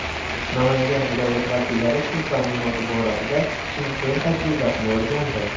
Namangan viloyati vakillari suv ta’minoti borasida Chimkent tajribasini o‘rgandi.